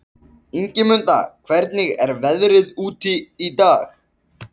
Ingimunda, hvernig er veðrið úti?